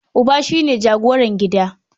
Uba shi ne jagoran gida.